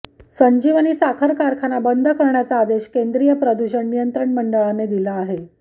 संजीवनी साखर कारखाना बंद करण्याचा आदेश केंद्रीय प्रदूषण नियंत्रण मंडळाने दिला आहे